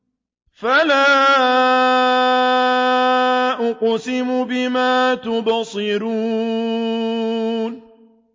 فَلَا أُقْسِمُ بِمَا تُبْصِرُونَ